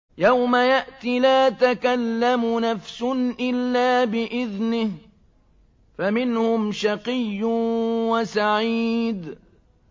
يَوْمَ يَأْتِ لَا تَكَلَّمُ نَفْسٌ إِلَّا بِإِذْنِهِ ۚ فَمِنْهُمْ شَقِيٌّ وَسَعِيدٌ